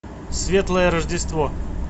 светлое рождество